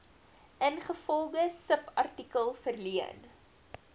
ingevolge subartikel verleen